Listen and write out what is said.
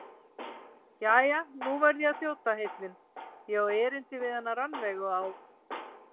Jæja, nú verð ég að þjóta heillin, ég á erindi við hana Rannveigu á